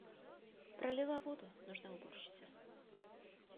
пролила воду нужна уборщица